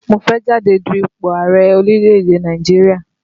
Mo fẹ́ jáde du ipò ààrẹ̀ orílẹ̀ èdè Nàìjíríà